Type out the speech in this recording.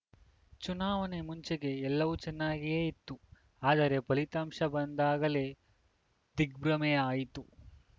ಚುನಾವಣೆ ಮುಂಚೆಗೆ ಎಲ್ಲವೂ ಚನ್ನಾಗಿಯೇ ಇತ್ತು ಆದರೆ ಫಲಿತಾಂಶ ಬಂದಾಗಲೇ ದಿಗ್ಭ್ರಮೆ ಆಯಿತು